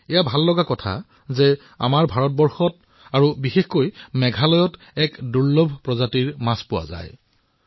এয়া এক সুখৰ কথা যে আমাৰ ভাৰত বিশেষকৈ মেঘালয় এক দুৰ্লভ প্ৰজাতিৰ আৱাসস্থান হিচাপে পৰিচিত হৈছে